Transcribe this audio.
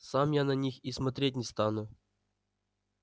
сам я на них и смотреть не стану